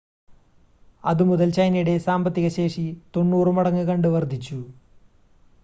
അത് മുതൽ ചൈനയുടെ സാമ്പത്തിക ശേഷി 90 മടങ്ങ് കണ്ട് വർദ്ധിച്ചു